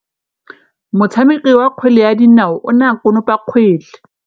Motshameki wa kgwele ya dinaô o ne a konopa kgwele.